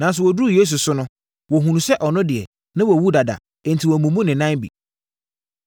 Nanso wɔduruu Yesu so no, wɔhunuu sɛ ɔno deɛ, na wawu dada enti wɔammubu ne nan bi.